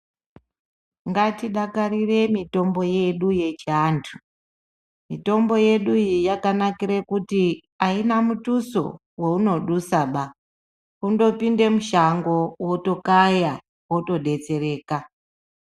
Ngatidakarire mutombo yedu yechiantu. Mitombo yedu iyi yakanakire kuti aina mutuso weunodusaba kundopinda mushango wotokaya wotodetsereka.